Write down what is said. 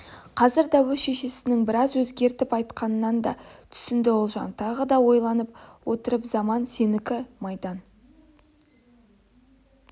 қазірде өз шешесінің біраз өзгертіп айтқанын да түсінді ұлжан тағы да ойланып отырып заман сенікі майдан